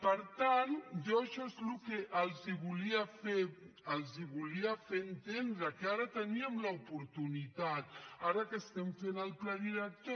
per tant jo això és el que els volia fer entendre que ara teníem l’oportunitat ara que estem fent el pla director